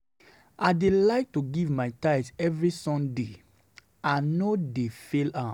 I dey like to give my tithe every Sunday. I no dey fail am